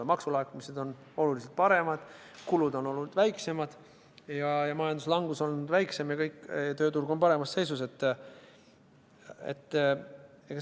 Maksulaekumised on olnud oluliselt paremad, kulud on olnud väiksemad ja majanduslangus on olnud väiksem ning tööturg on paremas seisus.